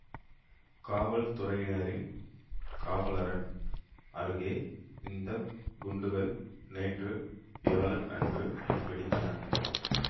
காவல்துறையினரின் காவலரண் அருகே இந்த குண்டுகள் நேற்று வியாழன் அன்று வெடித்தன